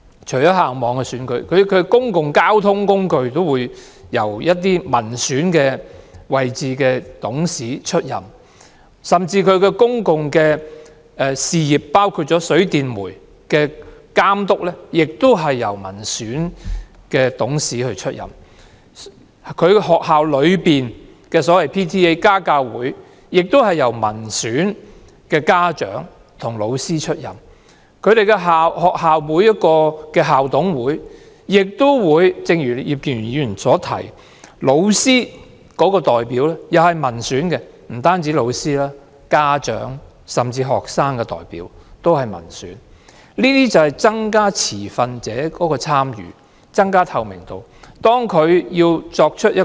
除了校網選舉外，公共交通管理層都包括民選董事，甚至公用事業也由民選董事負責監督。學校家教會成員也包括民選的家長和教師。正如葉建源議員所說，每所學校的校董會也有民選的教師代表，還有民選的家長和學生代表，增加持份者的參與和透明度。